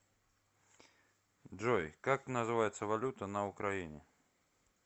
джой как называется валюта на украине